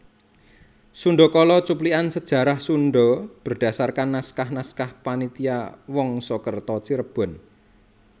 Sundakala cuplikan sejarah Sunda berdasarkan naskah naskah Panitia Wangsakerta Cirebon